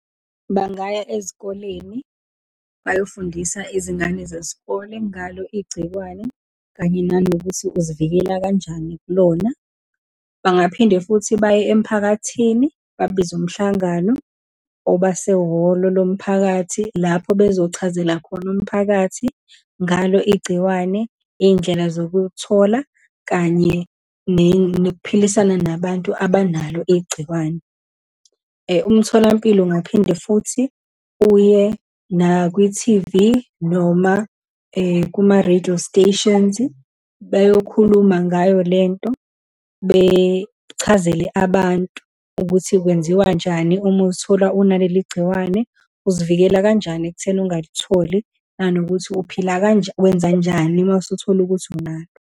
Bangaya ezikoleni, bayofundisa izingane zesikole ngalo igcikwane, kanye nanokuthi uzivikela kanjani kulona. Bangaphinde futhi baye emphakathini, babize umhlangano obasehholo lomphakathi, lapho bezochazela khona umphakathi ngalo igciwane, iy'ndlela zokuwuthola, kanye nokuphilisana nabantu abanalo igciwane. Umtholampilo ungaphinde futhi uye nakwithivi, noma kuma-radio stations, beyokhuluma ngayo lento, bechazele abantu ukuthi kwenziwanjani uma uzithola unaleli gciwane, uzivikele kanjani ekutheni ungalitholi, nanokuthi uphila wenzanjani uma usuthole ukuthi unalo.